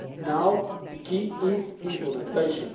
Now the key is implementation.